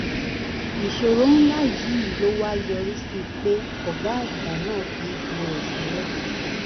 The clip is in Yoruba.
ìṣòro ńlá yìí ló wá yọrí sí pé ọ̀gá àgbà náà fi ipò rẹ̀ sílẹ̀.